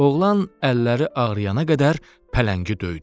Oğlan əlləri ağrıyana qədər pələngi döydü.